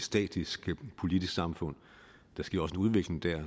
statisk politisk samfund der sker også en udvikling der